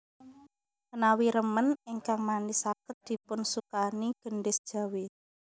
Menawi remen ingkang manis saged dipunsukani gendhis Jawi